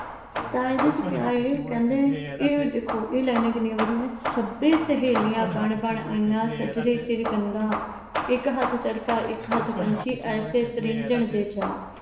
ਤਾਂ ਇਹਦਾ ਚ ਕਿਹਾ। ਕਹਿੰਦੇ, ਇਹ ਦੇਖੋ lines ਕਿੰਨੀਆਂ ਵਧੀਆ। ਸਭੇ ਸਹੇਲੀਆਂ ਬਣ ਬਣ ਆਈਆਂ ਸੱਜਰੇ ਸਿਰ ਗੰਢਾਂ ਇੱਕ ਹੱਥ ਚਰਖਾ ਇੱਕ ਹੱਥ ਪੰਛੀ ਐਸੇ ਤ੍ਰਿੰਞਣ ਦੇ ਚਾਅ